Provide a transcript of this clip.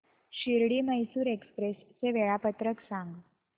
Shirdi Mysore express चे वेळापत्रक सांग